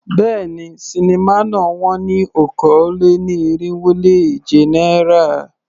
Béèni, sinimá náà wón ní okòó-lé-ní-irínwó-lé-èje náírà.